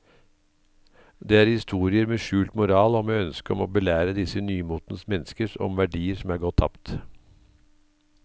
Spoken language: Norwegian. Det er historier med skjult moral og med ønske om å belære disse nymotens mennesker om verdier som er gått tapt.